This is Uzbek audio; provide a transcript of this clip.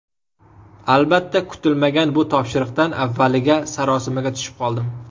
Albatta, kutilmagan bu topshiriqdan avvaliga sarosimaga tushib qoldim.